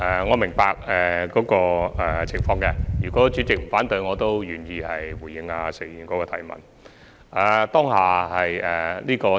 我明白這個情況，如果主席不反對的話，我願意回答石議員的補充質詢。